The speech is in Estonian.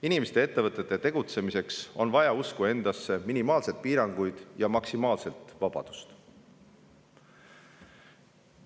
Inimeste ja ettevõtete tegutsemiseks on vaja usku endasse, minimaalseid piiranguid ja maksimaalset vabadust.